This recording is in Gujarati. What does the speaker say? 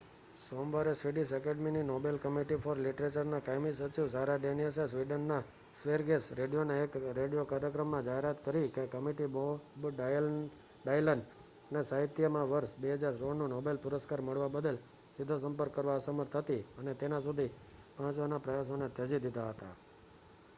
સોમવારે સ્વિડિશ એકેડેમી ની નોબેલ કમિટી ફોર લિટરેચર ના કાયમી સચિવ સારા ડેનિયસે સ્વિડન માં સ્વેરિગસ રેડિયોના એક રેડિયો કાર્યક્રમ માં જાહેરાત કરી કે કમિટી બોબ ડાયલન ને સાહિત્ય માં વર્ષ 2016 નું નોબેલ પુરસ્કાર મળવા બદલ સીધો સંપર્ક કરવા અસમર્થ હતી અને તેના સુધી પહોંચવાના પ્રયાસો ને ત્યજી દીધા હતા